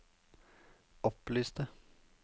opplyste